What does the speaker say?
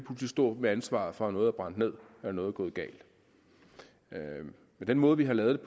stå med ansvaret for at noget er brændt ned når noget er gået galt med den måde vi har lavet